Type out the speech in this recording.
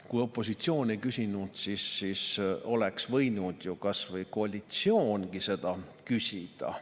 Kui opositsioon ei küsinud, siis oleks võinud ju kasvõi koalitsioon seda küsida.